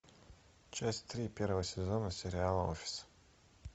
часть три первого сезона сериала офис